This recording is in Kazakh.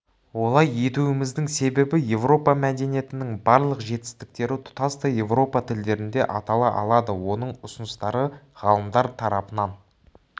олай етуіміздің себебі европа мәдениетінің барлық жетістіктері тұтастай европа тілдерінде атала алады оның ұсыныстары ғалымдар тарапынан